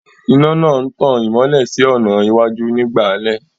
Iná náà ń tan ìmọ́lẹ̀ sí ọ̀nà iwájú nígbà alẹ́